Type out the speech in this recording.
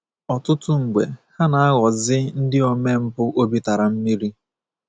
Ọtụtụ mgbe ha na- aghọzi ndị omempụ obi tara mmiri.